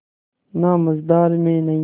ना मझधार में नैय्या